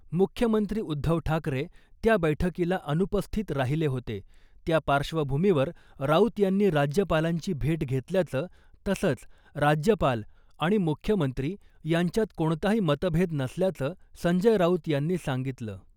मुख्यमंत्री उद्धव ठाकरे त्या बैठकीला अनुपस्थित राहिले होते , त्या पार्श्वभूमीवर राऊत यांनी राज्यपालांची भेट घेतल्याचं तसंच राज्यपाल आणि मुख्यमंत्री यांच्यात कोणताही मतभेद नसल्याचं , संजय राऊत यांनी सांगितलं .